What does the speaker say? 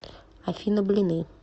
афина блины